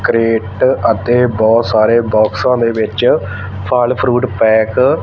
crate ਅਤੇ ਬਹੁਤ ਸਾਰੇ ਬੋਕਸਾਂ ਦੇ ਵਿੱਚ ਫ਼ਲ ਫਰੂਟ ਪੈਕ --